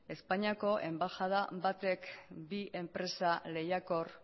espainiako enbaxada batek bi enpresa lehiakor